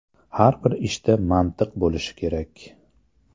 Har bir ishda mantiq bo‘lishi kerak.